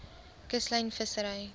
kuslyn vissery